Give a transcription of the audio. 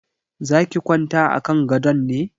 Za ki kwanta a kan gadon ne?